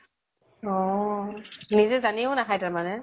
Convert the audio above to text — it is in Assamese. অʼ । নিজে জানিও নাখাই তাৰ মানে ?